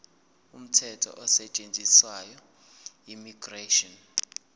umthetho osetshenziswayo immigration